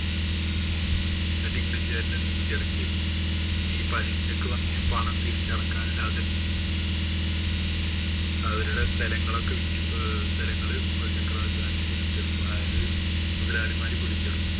എന്നിട്ട് ഇംഗ്ലീഷുകാരുടെ നികുതി അടയ്ക്കുകയാണ്. പിന്നെ ഈ പലിശയ്ക്കു വാങ്ങിയ പണം തിരിച്ചടയ്ക്കാനില്ലാതെ അവരുടെ സ്ഥലങ്ങളൊക്കെ വിറ്റ്‌ സ്ഥലങ്ങള് മുഗള്‍ ചക്രവര്‍ത്തിമാര് പിടിച്ചെടുക്കും. അതായത്, മുതലാളിമാര് പിടിച്ചെടുക്കും.